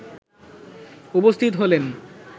উপস্থিত হলেন।